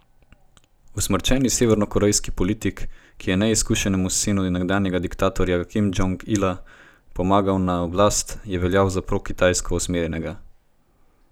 Usmrčeni severnokorejski politik, ki je neizkušenemu sinu nekdanjega dikatorja Kim Džong Ila pomagal na oblast, je veljal za prokitajsko usmerjenega.